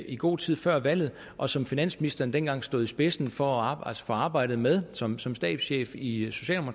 i god tid før valget og som finansministeren dengang stod i spidsen for arbejdet for arbejdet med som som stabschef i